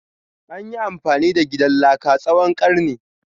Anyi amfani da gidan laka tsawon karni.